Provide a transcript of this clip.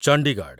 Chandigarh